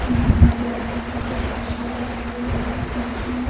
मनाया जा रहा है डॉक्टर सर्व पली राधा कृष्ण--